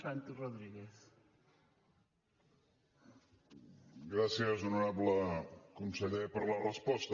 gràcies honorable conseller per la resposta